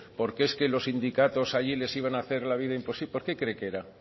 porque es que los sindicatos allí les iban a hacer la vida imposible por qué cree que era